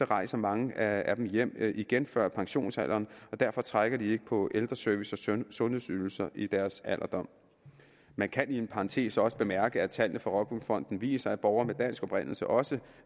rejser mange af dem hjem igen før pensionsalderen og derfor trækker de ikke på ældreservice og sundhedsydelser i deres alderdom man kan i parentes også bemærke at tallene fra rockwool fonden viser at borgere med dansk oprindelse også